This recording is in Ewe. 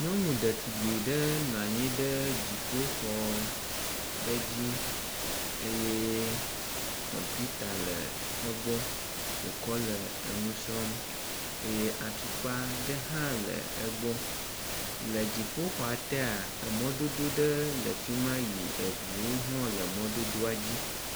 Nyɔnu dzetugbe ɖe nɔ anyi ɖe dzioƒoxɔ ɖe dzi eye kɔmpita le egbɔ, wokɔ le enu srɔ̃m eye atukpa ɖe hã le egbɔ. Le dziƒoxɔa tee emɔdodo ɖe le fi ma yi eŋuwo hã le mɔdodoa dzi.